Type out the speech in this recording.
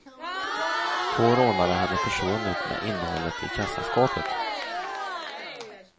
Två rånare hade försvunnit med innehållet i kassaskåpet.